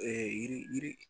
yiri yiri